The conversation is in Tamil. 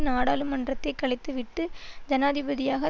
நாடாளுமன்றத்தைக் கலைத்துவிட்டு ஜனாதிபதியாக